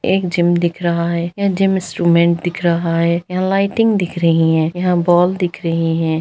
एक जिम दिख रहा है यह जिम इंस्ट्रूमेंट दिख रहा है यहाँ लाइटिंग दिख रहीं हैं यहाँ बॉल दिख रहीं हैं।